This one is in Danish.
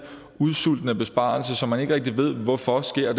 udsultende besparelser som man ikke rigtig ved hvorfor sker